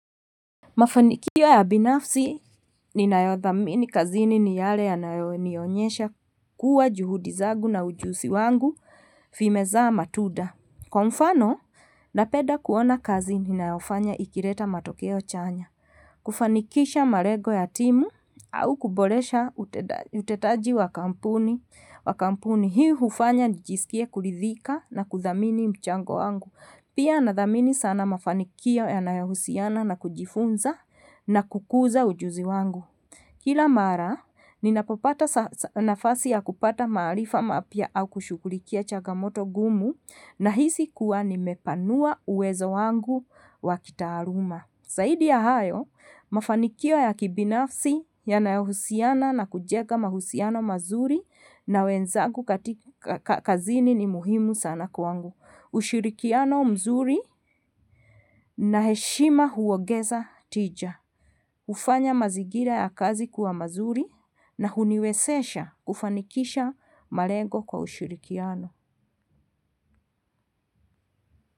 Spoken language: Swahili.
Mafanikio ya binafsi ninayodhamini kazini ni yale yananionyesha kua juhudi zangu na ujuzi wangu vimezaa matunda kwa mfano napeda kuona kazi ninayofanya ikileta matokeo chanya kufanikisha malengo ya timu au kuboresha utendaji utendaji wa kampuni, hii hufanya nijisikie kuridhika na kudhamini mchango wangu pia nathamini sana mafanikio yanayohusiana na kujifunza na kukuza ujuslzi wangu kila mara ninapopata nafasi ya kupata maarifa maapya au kushughulikia changamoto ngumu nahisi kuwa nimepanua uwezo wangu wa kitaaluma zaidi ya hayo mafanikio ya kibinafsi yanayohusiana na kujega mahusiano mazuri na wenzagu kazini ni muhimu sana kwangu ushirikiano mzuri na heshima huongeza tija, hufanya mazingira ya kazi kua mazuri na huniwezesha kufanikisha malego kwa ushirikiano.